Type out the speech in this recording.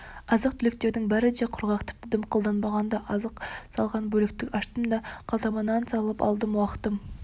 азық-түліктердің бәрі де құрғақ тіпті дымқылданбаған да азық салған бөлікті аштым да қалтама нан салып алдым уақытым